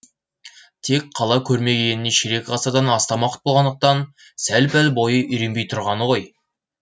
тек қала көрмегеніне ширек ғасырдан астам уақыт болғандықтан сәл пәл бойы үйренбей тұрғаны ғой